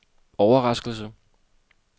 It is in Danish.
overraskelse